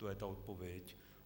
To je ta odpověď.